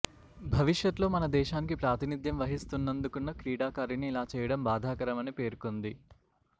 భవిష్యత్లో మనదేశానికి ప్రాతినిథ్యం వహిస్తుందనుకున్న క్రీడాకారిణి ఇలా చేయడం బాధాకరమని పేర్కొంది